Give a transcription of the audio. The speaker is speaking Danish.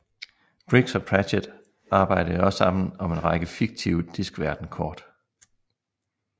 Briggs og Pratchett arbejde også sammen om en række fiktive Diskverden kort